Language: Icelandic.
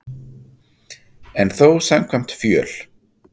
En þó samkvæmt fjöl